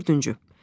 Dördüncü.